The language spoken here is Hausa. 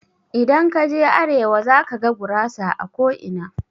Idan kaje arewa zakaga gurasa a ko'ina.